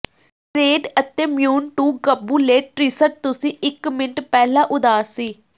grade ਅਤੇ ਮਿਊਨ ਟੂ ਕਬੂਲੇਟ ਟ੍ਰਿਸਟ ਤੁਸੀਂ ਇੱਕ ਮਿੰਟ ਪਹਿਲਾਂ ਉਦਾਸ ਸੀ